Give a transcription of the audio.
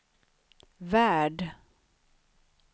värld